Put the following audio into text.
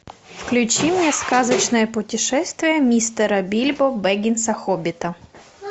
включи мне сказочное путешествие мистера бильбо беггинса хоббита